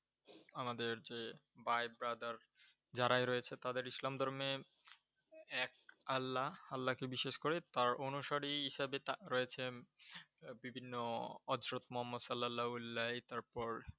আমাদের যে ভাই BROTHER যারাই রয়েছে তাদের ইসলাম ধর্মে এক আল্লা, আল্লাকে বিশ্বাস করে তার অনুসারী হিসাবে রয়েছে বিভিন্ন অছ্রত মহাম্মদ সালাল্লা উল্লাই। তারপর